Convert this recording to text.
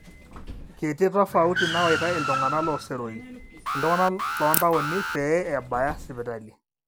kiti tofauti nawaita iltung'anak looseroi iltung'anak loontaoni pee ebaya sipitali